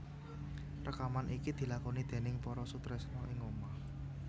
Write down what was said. Rekaman iki dilakoni déning para sutresna ing ngomah